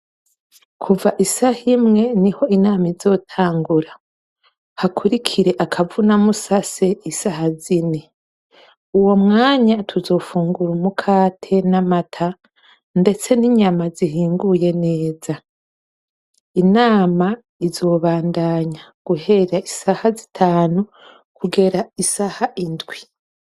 Kuva isaha imwe niho inama izotangura, hakurikire akavunamusase isaha zine. Uwo mwanya tuzofungura umukate n'amata ndetse n'inyama zihinguye neza. Inama izobandanya guhera isaha zitanu kugera isaha indwi.